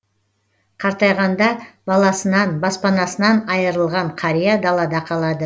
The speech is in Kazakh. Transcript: қартайғанда баласынан баспанасынан айырылған қария далада қалады